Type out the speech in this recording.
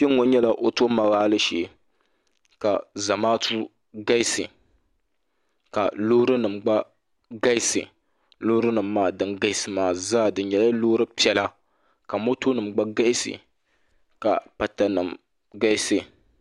Kpe ŋɔ nyɛla ɔtomoobaali shee ka zamaatu ɡalisi ka loorinima ɡba ɡalisi loorinima maa din ɡalisi maa zaa di nyɛla loori piɛla ka motonima ɡba ɡalisi ka patanima ɡalisi